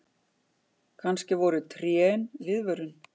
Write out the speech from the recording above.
Kannski voru trén viðvörun.